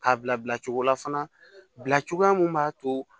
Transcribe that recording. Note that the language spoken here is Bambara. K'a bila bila cogo la fana bila cogoya min b'a to